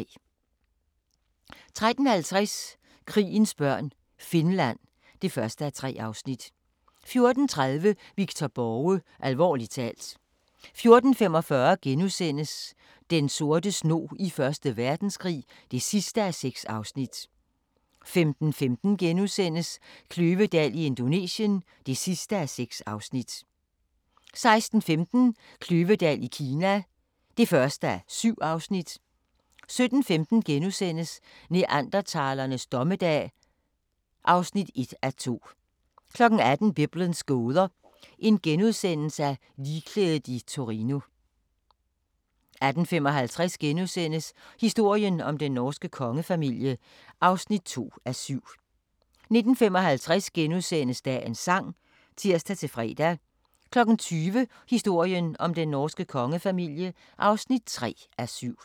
13:50: Krigens børn - Finland (1:3) 14:30: Victor Borge – alvorligt talt 14:45: Den sorte snog i 1. Verdenskrig (6:6)* 15:15: Kløvedal i Indonesien (6:6)* 16:15: Kløvedal i Kina (1:7) 17:15: Neandertalernes dommedag (1:2)* 18:00: Biblens gåder – Ligklædet i Torino * 18:55: Historien om den norske kongefamilie (2:7)* 19:55: Dagens Sang *(tir-fre) 20:00: Historien om den norske kongefamilie (3:7)